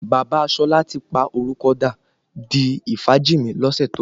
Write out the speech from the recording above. Bàbá Ṣọlá ti pa orúkọ dà di Ifájìnmí lọ́sẹ̀ tó lọ